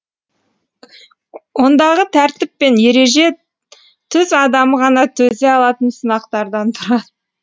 ондағы тәртіп пен ереже түз адамы ғана төзе алатын сынақтардан тұрады